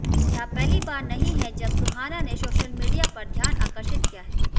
यह पहली बार नहीं है जब सुहाना ने सोशल मीडिया पर ध्यान आकर्षित किया है